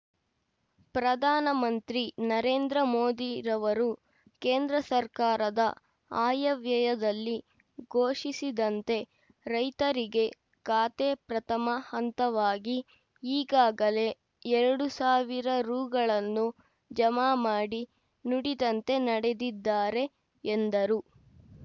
ಪ್ರಧಾನ ಮಂತ್ರಿ ನರೇಂದ್ರ ಮೋದಿರವರು ಕೇಂದ್ರ ಸರ್ಕಾರದ ಆಯವ್ಯಯದಲ್ಲಿ ಘೋಷಿಸಿದಂತೆ ರೈತರಿಗೆ ಖಾತೆ ಪ್ರಥಮ ಹಂತವಾಗಿ ಈಗಾಗಲೇ ಎರಡು ಸಾವಿರ ರೂ ಗಳನ್ನು ಜಮಾ ಮಾಡಿ ನುಡಿದಂತೆ ನಡೆದಿದ್ದಾರೆ ಎಂದರು